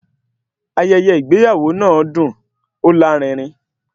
Ayẹyẹ ìgbéyàwó náà dùn, ó lárinrin